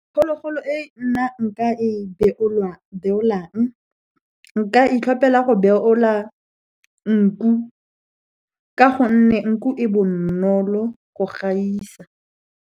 Phologolo e nna nka e beolwang, nka itlhopela go beola nku, ka gonne nku e bonolo go gaisa.